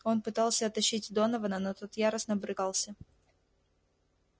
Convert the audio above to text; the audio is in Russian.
он пытался оттащить донована но тот яростно брыкался